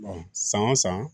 san o san